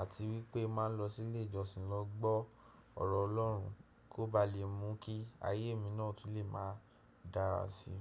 àti wípé ma ń lọ sí ilé ìjọsìn lọ gbọ́ ọ̀rọ̀ Ọlọ́run kó ba lè mú kí ayé mi náà tu lè máa dára sí.